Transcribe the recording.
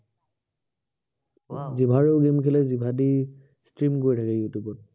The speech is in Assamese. জিভাৰেও game খেলে, জিভা দি stream কৰি থাকে ইউটিউবত।